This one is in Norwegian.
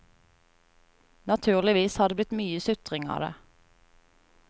Naturligvis har det blitt mye sutring av det.